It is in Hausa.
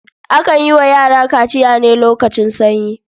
Akan yi wa yara kaciya ne lokacin sanyi.